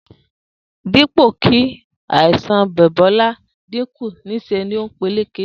Dípò kí àìsàn Bò̩bó̩lá ó dínkù, nís̩e ló ń peléke